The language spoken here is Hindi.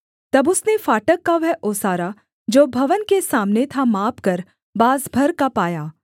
तब उसने फाटक का वह ओसारा जो भवन के सामने था मापकर बाँस भर का पाया